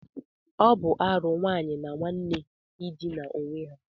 Ọ bụ arụ nwanne na nwanne ịdina onwe ha